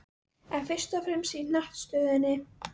En fyrst og fremst í hnattstöðunni.